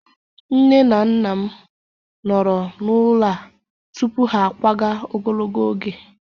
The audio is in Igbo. Nne na nna m nọrọ n'ụlọ a tupu ha akwaga ogologo oge